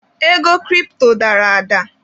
Ego kiripto dara ada.